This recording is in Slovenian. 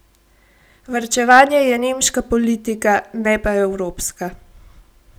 Varčevanje je nemška politika, ne pa evropska.